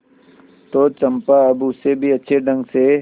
तो चंपा अब उससे भी अच्छे ढंग से